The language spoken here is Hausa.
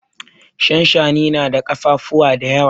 Shanshani na da kafafuwa da yawa.